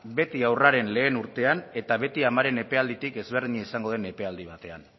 beti haurraren lehen urtean eta beti amaren epealditik ezberdina izango den epealdi batean